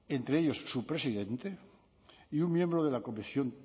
entre ellos su presidente y un miembro de la comisión